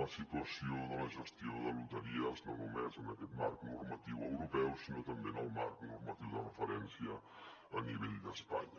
la situació de la gestió de loteries no només en aquest marc normatiu europeu sinó també en el marc normatiu de referència a nivell d’espanya